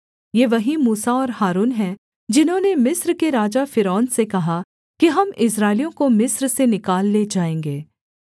ये वही मूसा और हारून हैं जिन्होंने मिस्र के राजा फ़िरौन से कहा कि हम इस्राएलियों को मिस्र से निकाल ले जाएँगे